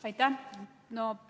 Aitäh!